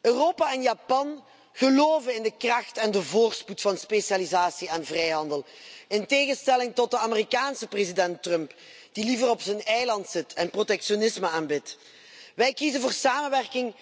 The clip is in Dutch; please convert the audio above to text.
Europa en Japan geloven in de kracht en de voorspoed van specialisatie en vrijhandel in tegenstelling tot de Amerikaanse president Trump, die liever op zijn eiland zit en protectionisme aanbidt. Wij kiezen voor samenwerking